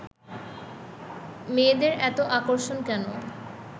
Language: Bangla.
মেয়েদের এতো আকর্ষণ কেন